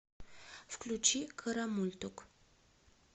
включи карамультук